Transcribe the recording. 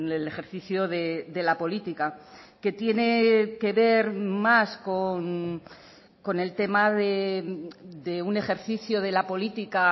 el ejercicio de la política que tiene que ver más con el tema de un ejercicio de la política